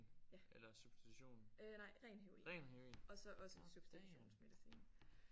Ja. Øh nej ren heroin og så også substitutionsmedicin